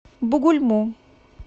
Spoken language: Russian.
бугульму